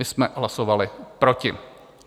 My jsme hlasovali proti.